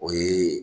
O ye